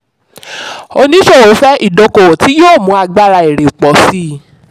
oníṣòwò fẹ́ ìdókòwò tí yóò mu agbára èrè pọ̀ sí.